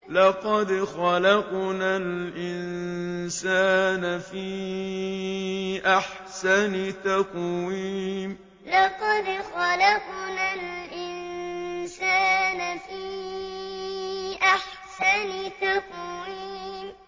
لَقَدْ خَلَقْنَا الْإِنسَانَ فِي أَحْسَنِ تَقْوِيمٍ لَقَدْ خَلَقْنَا الْإِنسَانَ فِي أَحْسَنِ تَقْوِيمٍ